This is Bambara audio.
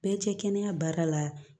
Bɛɛ cɛ kɛnɛya baara la